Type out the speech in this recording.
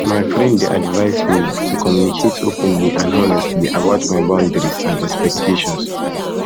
my friend dey advise me advise me to communicate openly and honestly about my boundaries and expectations